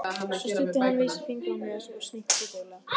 Svo studdi hann vísifingri á nös og snýtti sér duglega.